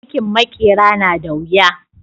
Aikin maƙera na da wuya